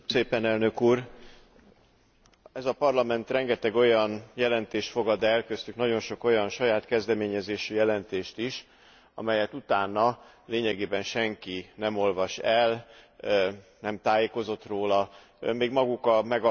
Ez a Parlament rengeteg olyan jelentést fogad el, köztük nagyon sok olyan saját kezdeményezésű jelentést is, amelyet utána lényegében senki nem olvas el, nem tájékozott róla, még maguk a megalkotóik sem foglalkoznak vele többet.